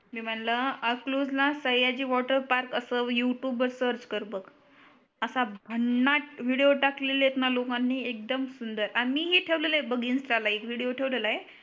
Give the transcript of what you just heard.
मी म्हणल आखलूजला Sayaji water park अस यूट्यूब वर सर्च कर बग असा भन्नाट विडियो टाकलेले आहेत णा लोकांनी एक दम सुंदर आम्ही पण ठेवलेले आहे बग इनस्टा ला एक विडियो ठेवलेला आहे बग